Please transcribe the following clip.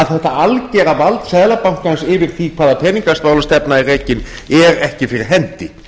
þetta algera vald seðlabankans yfir því hvaða peningamálastefna er rekin er ekki fyrir hendi